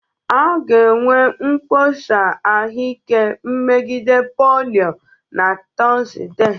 A ga-enwe mkpọsa ahụike megide polio na Tọzdee